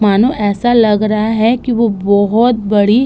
मानो ऐसा लग रहा है कि वो बोहोत बड़ी --